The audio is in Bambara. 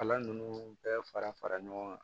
Kalan ninnu bɛɛ fara fara ɲɔgɔn kan